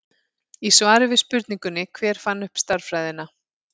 Í svari við spurningunni Hver fann upp stærðfræðina?